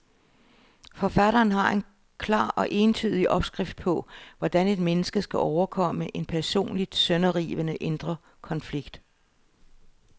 Forfatteren har en klar og entydig opskrift på, hvordan et menneske skal overkomme en personligt sønderrivende indre konflikt.